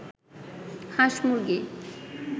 হাঁস-মুরগি